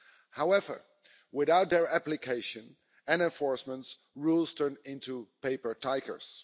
However, without their application and enforcement, rules turn into paper tigers.